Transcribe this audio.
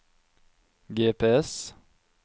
GPS